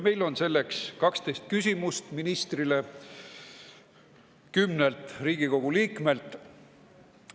Meil on ministrile 12 küsimust 10‑lt Riigikogu liikmelt.